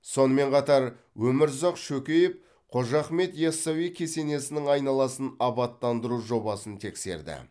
сонымен қатар өмірзақ шөкеев қожа ахмет ясауи кесенесінің айналасын абаттандыру жобасын тексерді